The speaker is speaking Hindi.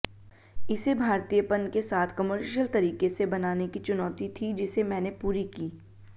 इसे भारतीयपन के साथ कमर्शियल तरीके से बनाने की चुनौती थी जिसे मैंने पूरी की